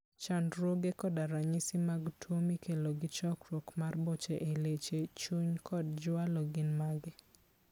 Chandruoge koda ranyisi mag tuo mikelo gi chokruok mar boche e leche, chuny kod jwalo gin mage?